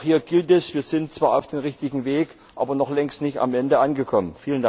Auch hier gilt Wir sind zwar auf dem richtigen Weg, aber noch längst nicht am Ziel angekommen.